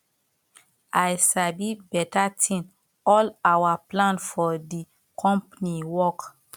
i sabi beta thing all our plan for the company work